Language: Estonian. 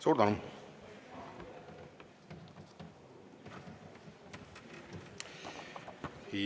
Suur tänu!